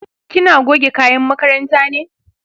kina goge kayan makaranta ne?